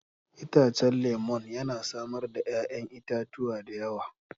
Itacen lemun yana samar da 'ya'yan itatuwa da yawa.